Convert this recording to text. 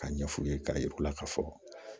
Ka ɲɛfɔ u ye k'a yira u la ka fɔ